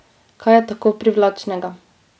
Kaj je tako privlačnega?